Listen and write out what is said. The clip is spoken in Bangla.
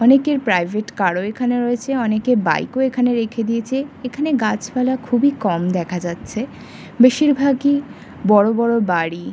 অনেকের প্রাইভেট কার ও এখানে রয়েছে অনেকের বাইক ও এখানে রেখে দিয়েছে এখানে গাছপালা খুবই কম দেখা যাচ্ছে বেশীরভাগই বড়ো বড়ো বাড়ি ।